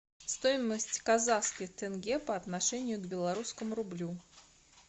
стоимость казахских тенге по отношению к белорусскому рублю